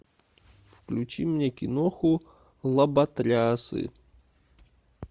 включи мне киноху лоботрясы